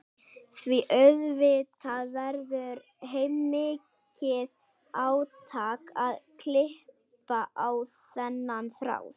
Því auðvitað verður heilmikið átak að klippa á þennan þráð.